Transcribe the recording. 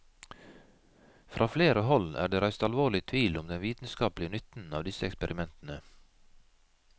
Fra flere hold er det reist alvorlig tvil om den vitenskapelige nytten av disse eksperimentene.